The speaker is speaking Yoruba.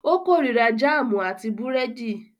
Ó korira jáámù àti búrẹ́dì.